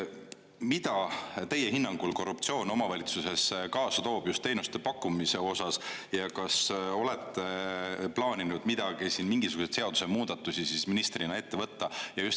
Mida teie hinnangul korruptsioon omavalitsustes kaasa toob just teenuste pakkumise osas ja kas olete plaaninud siin mingisuguseid seadusmuudatusi ministrina ette võtta?